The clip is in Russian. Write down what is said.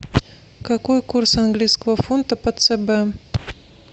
какой курс английского фунта по цб